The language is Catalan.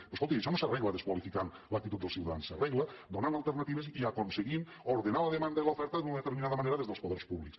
però escolti’m això no s’arregla desqualificant l’actitud dels ciutadans s’arregla donant alternatives i aconseguint ordenar la demanda i l’oferta d’una determinada manera des dels poders públics